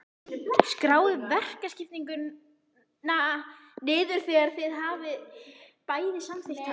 Skráið verkaskiptinguna niður þegar þið hafið bæði samþykkt hana.